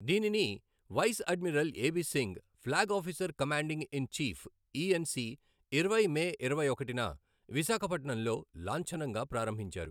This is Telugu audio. దీనిని vice admiral AB Singh, flag officer commanding in chief, ENC ఇరవై మే ఇరవై ఒకటిన విశాఖపట్నంలో లాంఛనంగా ప్రారంభించారు.